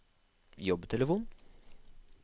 jobbtelefon